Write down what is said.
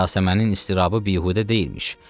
Yasəmənin iztirabı bihüdə deyilmiş.